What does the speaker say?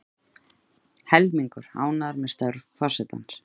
Helmingur ánægður með störf forsetans